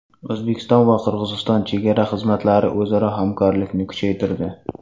O‘zbekiston va Qirg‘iziston chegara xizmatlari o‘zaro hamkorlikni kuchaytirdi.